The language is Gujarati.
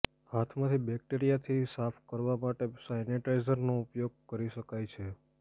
હાથમાંથી બેક્ટેરિયાથી સાફ કરવા માટે સેનિટાઈઝરનો ઉપયોગ કરી શકાય છે